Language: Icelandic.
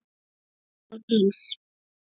Alveg eins.